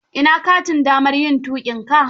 Ina katin damar yin tuƙinka?